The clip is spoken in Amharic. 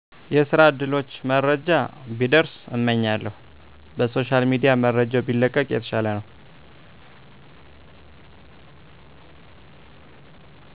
የስራ እድሎች መረጃ ቢደርስ እመኛለሁ። በሶሻል ሚድያ መረጃው ቢለቀቅ የተሻለ ነው።